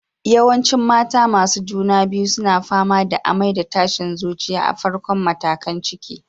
Yawancin mata masu juna biyu suna fama da amai da tashin zuciya a farkon matakan ciki.